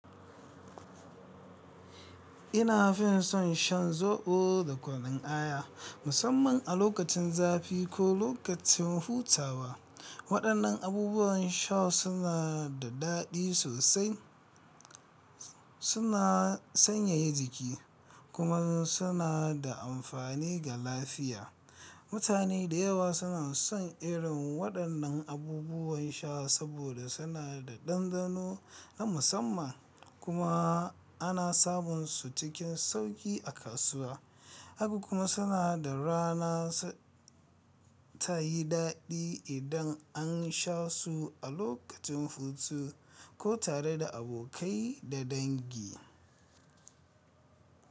Ina fin son shan zobo da kunun aya, musamman a lokacin zafi ko lokacin hutawa. Waɗannan abubuwan sha suna da daɗi sosai, suna sanyaya jiki, kuma suna da amfani ga lafiya. Mutane da yawa suna son irin waɗannan abubuwan sha saboda suna da ɗanɗano na musamman kuma ana samun su cikin sauƙi a kasuwa. Haka kuma suna da rana ta yi daɗi idan an sha su a lokacin hutu ko tare da abokai da dangi.